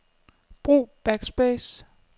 Brug backspace.